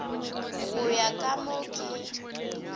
go ya ka mo ke